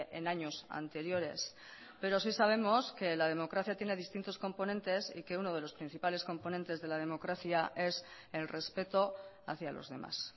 en años anteriores pero sí sabemos que la democracia tiene distintos componentes y que uno de los principales componentes de la democracia es el respeto hacia los demás